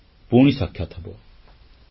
ଧନ୍ୟବାଦ ପୁଣି ସାକ୍ଷାତ ହେବ